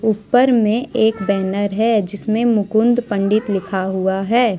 ऊपर में एक बैनर है जिसमें मुकुंद पंडित लिखा हुआ है ।